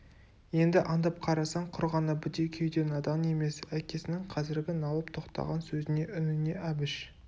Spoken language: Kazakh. енді аңдып қарасаң құр ғана бітеу кеуде надан емес әкесінің қазіргі налып тоқтаған сөзіне үніне әбіш